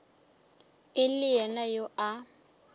e le yena yo a